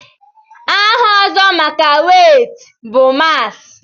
aha ọzọ maka wéétị bụ mààs